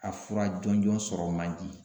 A fura jɔnjɔn sɔrɔ man di